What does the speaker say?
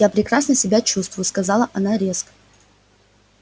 я прекрасно себя чувствую сказала она резко